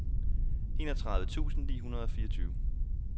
enogtredive tusind ni hundrede og fireogtyve